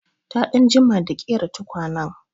Ta ɗan jima da ƙera tukwanen.